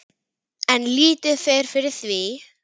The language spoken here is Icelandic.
En lítið fer fyrir því.